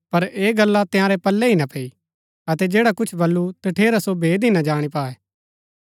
पर ऐह गला तंयारै पल्लै ही ना पैई अतै जैडा कुछ बल्लू तठेरा सो भेद ही ना जाणी पाऐ